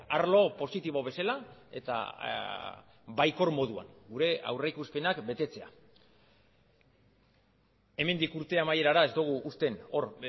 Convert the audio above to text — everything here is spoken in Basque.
arlo positibo bezala eta baikor moduan gure aurrikuspenak betetzea hemendik urte amaierara ez dugu usten hor